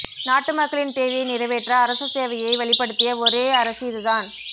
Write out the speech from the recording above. நாட்டு மக்களின் தேவையை நிறைவேற்ற அரச சேவையை வலுப்படுத்திய ஒரே அரசு இதுதான்